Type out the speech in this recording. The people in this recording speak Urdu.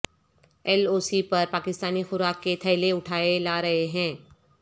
ایل او سی پر پاکستانی خوارک کے تھیلے اٹھائے لا رہے ہیں